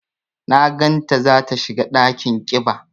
Na gan ta za ta shiga ɗakin ƙiba.